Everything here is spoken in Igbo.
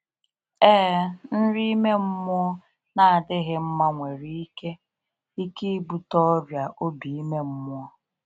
Ee, nri ime mmụọ na adịghị mma nwere ike ike ịbute ọrịa obi ime mmụọ.